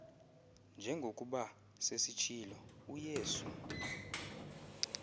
njengokuba sesitshilo uyesu